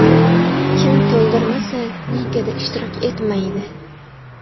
Kim to‘ldirmasa, ligada ishtirok etmaydi.